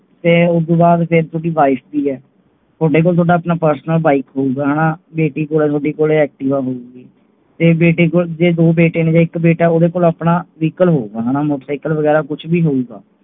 ਤੇ ਉਹਦੋਂ ਬਾਅਦ ਫਿਰ ਥੋੜੀ wife ਦੀ ਹੈ ਤੁਹਾਡੇ ਕੋਲ ਆਪਣਾ personal bike ਹੋਏਗਾ ਹੈਨਾ ਬੇਟੀ ਕੋਲ activa ਹੋਊਗੀ। ਤੇ ਬੇਟੇ ਕੋਲ ਜੇ ਦੋ ਬੇਟੇ ਨੇ ਇੱਕ, ਉਹਦੇ ਕੋਲ ਆਪਣਾ vehicle ਹੋਏਗਾ motor cycle ਵੇਗੇਰਾ ਕੁੱਝ ਵੀ ਹੋਏਗਾ